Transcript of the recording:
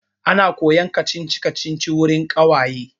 Ana koyan kacici-kacici wurin ƙawaye.